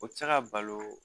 O tɛ se ka balo